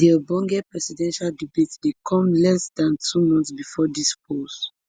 di ogbonge presidential debate dey come less dan two months bifor di polls